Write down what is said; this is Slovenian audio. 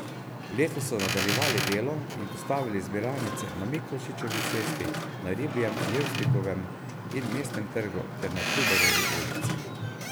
Letos so nadaljevali delo in postavili zbiralnice na Miklošičevi cesti, na Ribjem, Levstikovem in Mestnem trgu ter na Trubarjevi ulici.